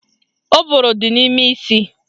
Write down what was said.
Ụbụrụ dị n'ime isi